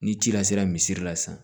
Ni ci la sera misi la sisan